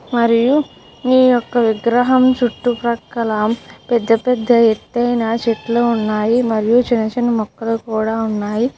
మరియు ఈ యొక్క విగ్రహం చుట్టుపక్కల పెద్ద పెద్ద ఎత్తైన చెట్లు ఉన్నాయి. మరియు చిన్న చిన్న మొక్కలు కూడా ఉన్నాయి.